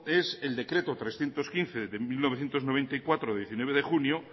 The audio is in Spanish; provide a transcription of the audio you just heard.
es el decreto trescientos quince barra mil novecientos noventa y cuatro de diecinueve de junio